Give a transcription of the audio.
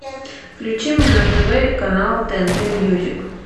включи мне на тв канал тнт мьюзик